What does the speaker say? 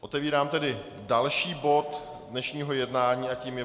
Otevírám tedy další bod dnešního jednání a tím je